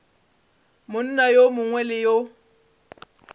monna yo mongwe le yo